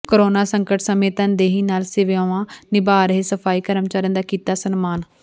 corona ਸੰਕਟ ਸਮੇਂ ਤਨਦੇਹੀ ਨਾਲ ਸੇਵਾਵਾਂ ਨਿਭਾ ਰਹੇ ਸਫਾਈ ਕਰਮਚਾਰੀਆਂ ਦਾ ਕੀਤਾ ਸਨਮਾਨ